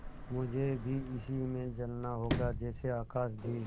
मुझे भी इसी में जलना होगा जैसे आकाशदीप